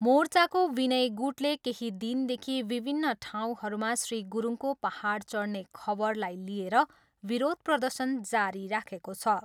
मोर्चाको विनय गुटले केही दिनदेखि विभिन्न ठाउँहरूमा श्री गुरुङको पाहाड चढने खबरलाई लिएर विरोध प्रदर्शन जारी राखेको छ।